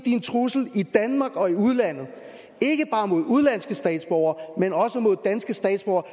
en trussel i danmark og i udlandet ikke bare mod udenlandske statsborgere men også mod danske statsborgere